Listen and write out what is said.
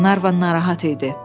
Qlenarvan narahat idi.